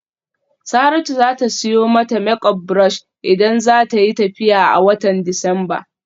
Saratu za ta siyo mata make up brush idan za ta yi tafiya a watan Disamba.